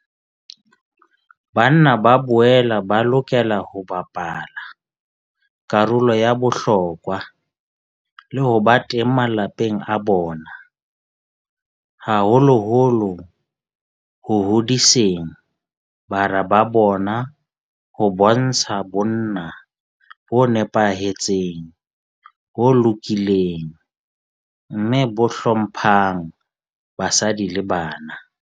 Banna ba boela ba lokela ho bapala karolo ya bohlokwa le ho ba teng malapeng a bona, haholoholo ho hodiseng bara ba bona ho bontsha bonna bo nepahetseng, bo lokileng mme bo hlo mphang basadi le bana.